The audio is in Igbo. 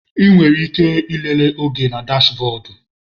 Ị nwere ike ịlele oge na dashbọdu.